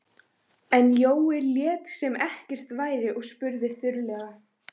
En Jói lét sem ekkert væri og spurði þurrlega